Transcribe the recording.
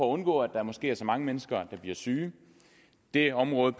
at undgå at der måske er så mange mennesker der bliver syge det område